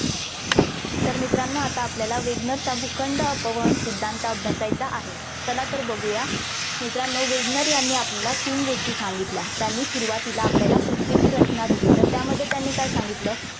तर मित्रांनो आता आपल्याला वेगनरचा भूखंड अपवन सिद्धांत अभ्यासायचा आहे. चला तर बघूया. मित्रानो वेगनर यांनी आपल्याला तीन गोष्टी सांगितल्या. त्यांनी सुरुवातीला आपल्याला पृथ्वीची रचना दिली. तर त्यामध्ये त्यांनी काय सांगितलं.